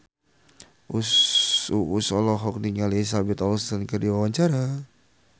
Uus olohok ningali Elizabeth Olsen keur diwawancara